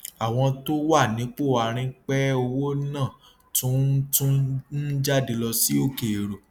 àwọn tó wà nípò àárín pẹ owó náà tún ń tún ń jáde lọ sí òkèèrò